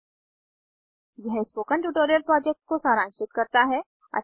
httpspoken tutorialorgWhat is a Spoken tutorial यह spoken tutorial को सारांशित करता है